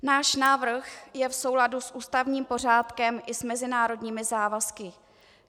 Náš návrh je v souladu s ústavním pořádkem i s mezinárodními závazky.